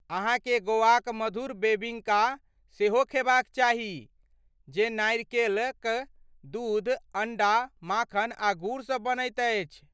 अहाँकेँ गोवाक मधूर बेबिंका सेहो खेबाक चाही जे नारिकेलक दूध, अण्डा, माखन आ गुड़ सँ बनैत अछि।